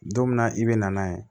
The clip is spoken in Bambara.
Don min na i be na n'a ye